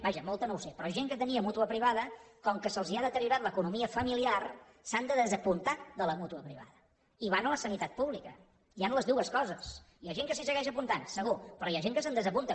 vaja molta no ho sé però gent que tenia mútua privada com que se’ls ha deteriorat l’economia familiar s’han de desapuntar de la mútua privada i van a la sanitat pública hi han les dues coses hi ha gent que s’hi segueix apuntant segur però hi ha gent que se’n desapunta